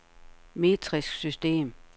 metrisk system